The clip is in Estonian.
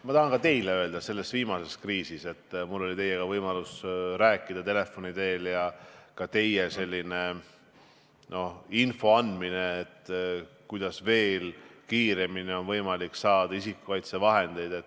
Ma tahan teile öelda ka seda, et selle viimase kriisi ajal oli mul võimalus teiega telefoni teel rääkida ja te andsite infot, kuidas veel kiiremini on võimalik saada isikukaitsevahendeid.